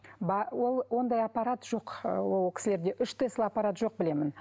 ол ондай аппарат жоқ ы ол кісілерде үш тесла аппарат жоқ білемін